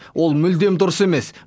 ол мүлдем дұрыс емес